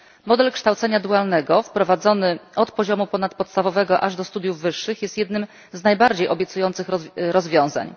Model kształcenia dualnego wprowadzony od poziomu ponadpodstawowego aż do studiów wyższych jest jednym z najbardziej obiecujących rozwiązań.